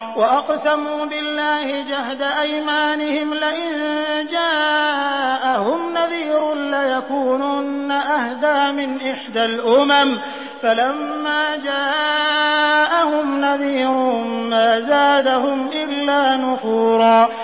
وَأَقْسَمُوا بِاللَّهِ جَهْدَ أَيْمَانِهِمْ لَئِن جَاءَهُمْ نَذِيرٌ لَّيَكُونُنَّ أَهْدَىٰ مِنْ إِحْدَى الْأُمَمِ ۖ فَلَمَّا جَاءَهُمْ نَذِيرٌ مَّا زَادَهُمْ إِلَّا نُفُورًا